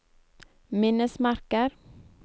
minnesmerker